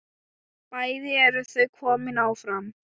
Bæði eru þau komin áfram.